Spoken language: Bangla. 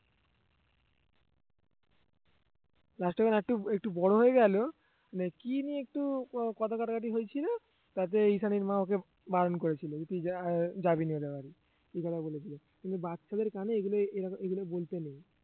last এ যখন আরেকটু একটু বড় হয়ে গেল মানে কি নিয়ে একটু ক~ কথা কাটাকাটি হয়েছিল তাতেই ঈশানীর মা ওকে বারণ করেছিল যে তুই যা আহ যাবি না ওদের বাড়ি এই কথা বলেছিল কিন্তু বাচ্চাদের কানে এগুলো এরকম এগুলো বলতে নেই